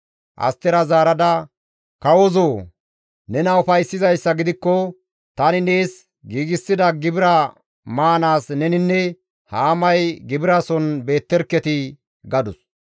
Astera zaarada, «Kawozoo! Nena ufayssizayssa gidikko, tani nees giigsida gibira maanaas neninne Haamay gibirason beetterketii» gadus.